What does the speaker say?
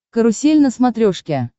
карусель на смотрешке